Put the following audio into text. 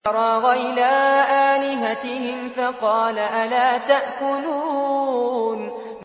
فَرَاغَ إِلَىٰ آلِهَتِهِمْ فَقَالَ أَلَا تَأْكُلُونَ